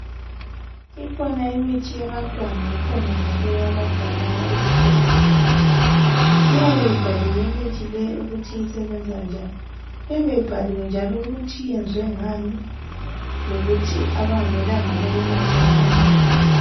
Ikhona imithi yabantwana labadala ezibhedlela, iyabe ibhaliwe imithi leyi ukuthi isebenza njani, iyabe ibhaliwe ukuthi iyenzwe ngani njalo, ukuthi abangamelanga beyinathe ngabanjani.